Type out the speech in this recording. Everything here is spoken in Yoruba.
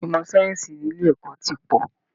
Ìmọ̀ sáyẹ́ǹsì ní ilé ẹ̀kọ́ ti pọ̀